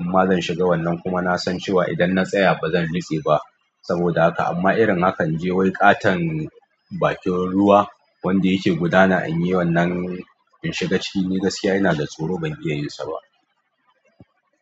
amma zan shiga wannan kuma nasan cewa idan natsaya bazan nutse ba saboda haka. Amma irin hakan inje wai ƙaton bakin ruwa wanda yake gudana inyi wannan in shiga ciki ni gaskiya inada tsoro ban iyayin saba.